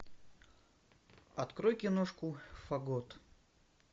открой киношку фагот